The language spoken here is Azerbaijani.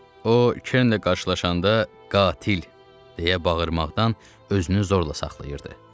O Kernlə qarşılaşanda "Qatil!" deyə bağırmaqdan özünü zorla saxlayırdı.